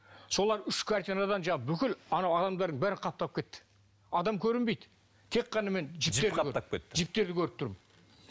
солар үш картинадан бүкіл анау адамдардың бәрі қаптап кетті адам көрінбейді тек қана мен жіптерді көріп тұрмын